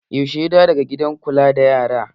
Yaushe ya dawo daga gidan kula da yaran?